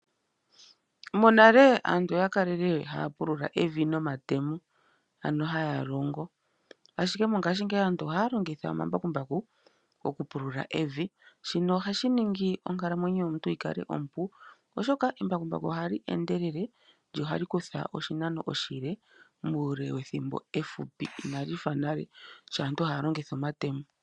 Monale aantu oya kala haya pulula evi nomatemo, ashike mongaashingeyi aantu ohaya longitha omambakumbaku okupulula evi. Shino osha ningi onkalamwenyo yomuntu yikale ompu oshoka embakumbaku ohali endelele lyo ohali kutha oshinano oshile muule wethimbo efupi, ina li fa nale sho aaantu yali haya longitha omatemo.